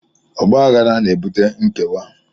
Ọgbaghara na-ebute nkewa